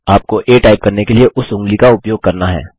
आपको आ टाइप करने के लिए उस ऊँगली का उपयोग करना है